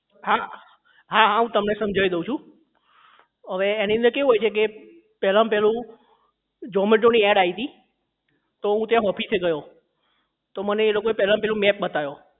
હા હા હું તમને સમજાવી દઉં છું અવે એની અંદર કેવું હોય છે કે પહેલામાં પહેલું zomato ની ad આવી હતી તો હું ત્યાં office એ ગયો તો મને એ લોકો એ પહેલા માં પહેલું map બતાયો